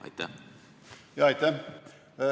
Aitäh!